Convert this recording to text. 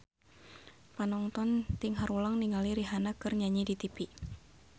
Panonton ting haruleng ningali Rihanna keur nyanyi di tipi